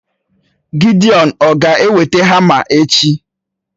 Gidiọn ọ̀ ga-eweta hama echi?